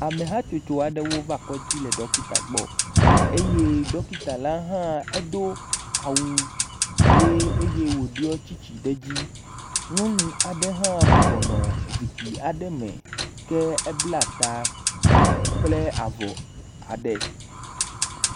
Amehatsotso aɖewo va kɔdzi le dɔkita gbɔ eye dɔkita hã edo awu hee eye wòɖɔ tsitsi ɖe edzi. Lɔnu aɖe hã bɔbɔnɔ zikpui awe me ke ebla taa kple avɔ aɖe.